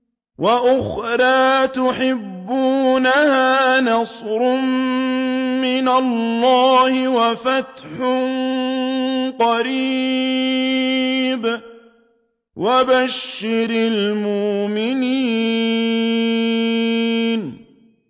وَأُخْرَىٰ تُحِبُّونَهَا ۖ نَصْرٌ مِّنَ اللَّهِ وَفَتْحٌ قَرِيبٌ ۗ وَبَشِّرِ الْمُؤْمِنِينَ